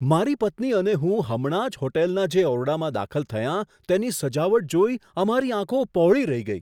મારી પત્ની અને હું હમણાં જ હોટલના જે ઓરડામાં દાખલ થયાં, તેની સજાવટ જોઈ અમારી આંખો પહોળી રહી ગઈ.